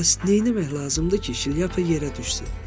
Bəs neyləmək lazımdır ki, şlyapa yerə düşsün?